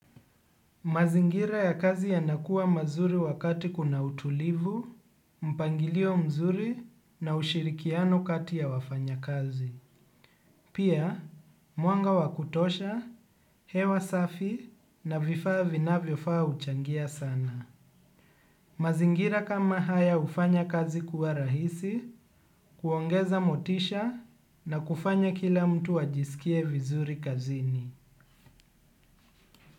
Mazingira ya kazi yanakuwa mazuri wakati kuna utulivu, mpangilio mzuri na ushirikiano kati ya wafanya kazi. Pia, mwanga wa kutosha, hewa safi na vifaa vinavyofaa uchangia sana. Mazingira kama haya ufanya kazi kuwa rahisi, kuongeza motisha na kufanya kila mtu ajisikie vizuri kazini.